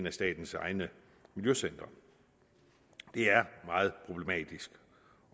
af statens egne miljøcentre det er meget problematisk